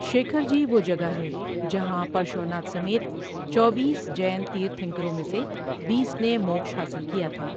شیکھر جی وہ جگہ ہے جہاں پرشواناتھ سمیت چوبیس جین تیرتھنکروں میں سے بیس نے موکش حاصل کیا تھا۔